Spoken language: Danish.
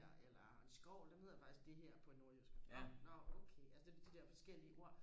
her eller en skovl den hedder faktisk det her på nordjysk nå nå okay altså det de der forskellige ord